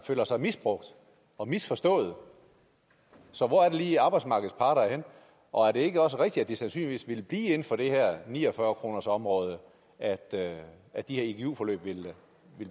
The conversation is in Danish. føler sig misbrugt og misforstået så hvor er det lige at arbejdsmarkedets parter er henne og er det ikke også rigtigt at det sandsynligvis ville blive inden for det her ni og fyrre kronersområde at at de her igu forløb ville